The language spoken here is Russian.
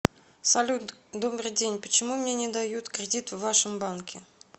салют добрый день почему мне не дают кредит в вашем банке